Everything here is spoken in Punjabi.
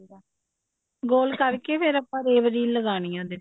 ਗੋਲ ਕਰਕੇ ਫ਼ੇਰ rave reel ਲਗਾਉਣੀ ਹੈ ਉਹਦੇ ਉੱਪਰ